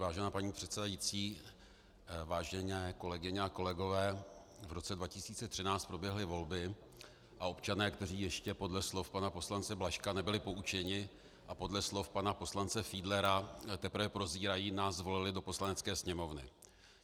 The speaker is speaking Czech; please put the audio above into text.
Vážená paní předsedající, vážené kolegyně a kolegové, v roce 2013 proběhly volby a občané, kteří ještě podle slov pana poslance Blažka nebyli poučeni a podle slov pana poslance Fiedlera teprve prozírají, nás zvolili do Poslanecké sněmovny.